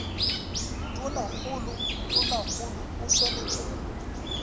tonakgolo tonakgolo o swanetše go